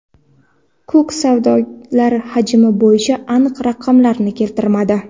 Kuk savdolar hajmi bo‘yicha aniq raqamlarni keltirmadi.